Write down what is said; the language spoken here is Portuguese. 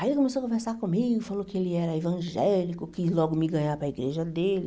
Aí ele começou a conversar comigo, falou que ele era evangélico, quis logo me ganhar para igreja dele.